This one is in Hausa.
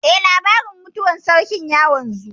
Eh, labarin mutuwar sarkin ya wanzu